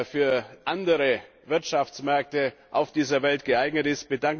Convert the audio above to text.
für andere Wirtschaftsmärkte auf dieser Welt geeignet ist.